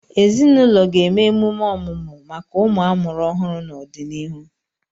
Ezinụlọ ga-eme emume ọmụmụ maka ụmụ amụrụ ọhụrụ n'ọdịnihu.